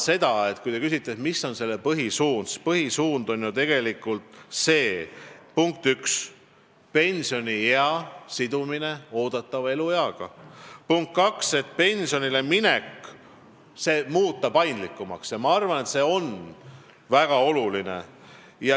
Kui te küsite, mis on selle põhisuunad, siis punkt üks on pensioniea sidumine oodatava elueaga ja punkt kaks on muuta pensionile minek paindlikumaks, mis on minu arvates väga oluline.